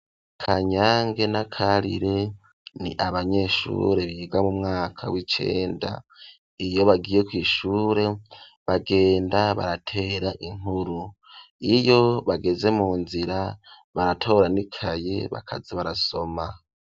Kanyange na Karire ni abanyeshure biga mu mwaka w'icenda iyo bagiye kw'ishure bagenda baratera inkuru iyo bageze mu nzira baratora n'ikayi bakaza barasoma.